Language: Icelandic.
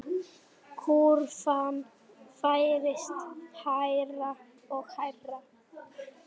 Guðrún Ásta og Gústav.